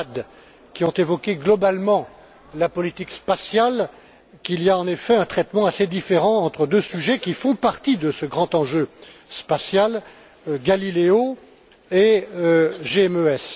Abad, qui ont évoqué globalement la politique spatiale, qu'il y a en effet un traitement assez différent entre deux sujets qui font partie de ce grand enjeu spatial GALILEO et GMES.